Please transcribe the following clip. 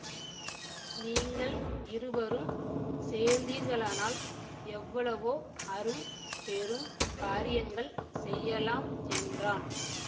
நீங்கள் இருவரும் சேர்ந்தீர்களானால் எவ்வளவோ அரும் பெரும் காரியங்கள் செய்யலாம் என்றான்